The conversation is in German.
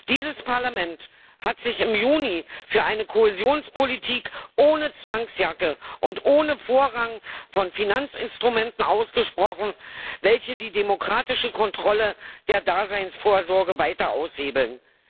Dieses Parlament hat sich im Juni für eine Kohäsionspolitik ohne Zwangsjacke und ohne Vorrang von Finanzinstrumenten ausgesprochen, welche die demokratische Kontrolle der Daseinsvorsorge weiter aushebeln.